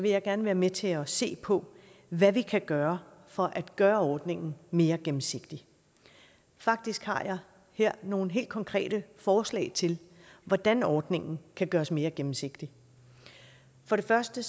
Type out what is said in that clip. jeg gerne være med til at se på hvad vi kan gøre for at gøre ordningen mere gennemsigtig faktisk har jeg her nogle helt konkrete forslag til hvordan ordningen kan gøres mere gennemsigtig for det første